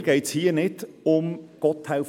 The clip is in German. Mir geht es hier nicht um Gotthelf